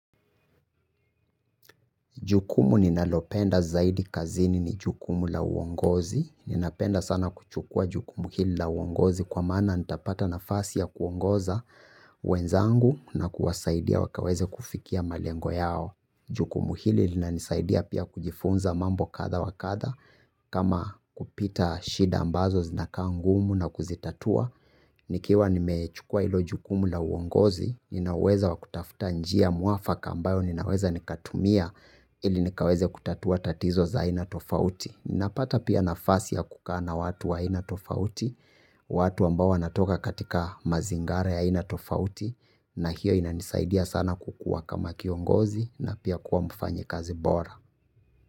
Jukumu ninalopenda zaidi kazini ni jukumu la uongozi. Ninapenda sana kuchukua jukumu hili la uongozi kwa maana nitapata nafasi ya kuongoza wenzangu na kuwasaidia wakaweze kufikia malengo yao. Jukumu hili linanisaidia pia kujifunza mambo kadha wa kadha kama kupita shida ambazo zinakaa ngumu na kuzitatua. Nikiwa nimechukua hilo jukumu la uongozi, nina uweza wa kutafuta njia mwafaka ambayo ninaweza nikatumia ili nikaweze kutatua tatizo za aina tofauti. Ninapata pia nafasi ya kukaa na watu wa aina tofauti, watu ambao wanatoka katika mazingara ya aina tofauti na hiyo inanisaidia sana kukuwa kama kiongozi na pia kuwa mfanyikazi bora.